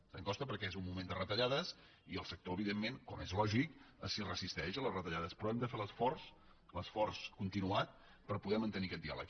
sabem que costa perquè és un moment de retallades i el sector evidentment com és lògic s’hi resisteix a les retallades però hem de fer l’esforç l’esforç continuat per poder mantenir aquest diàleg